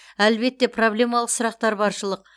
әлбетте проблемалық сұрақтар баршылық